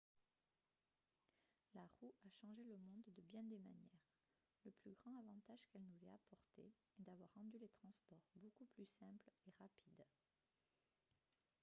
la roue a changé le monde de bien des manières le plus grand avantage qu'elle nous ait apporté est d'avoir rendu les transports beaucoup plus simples et rapides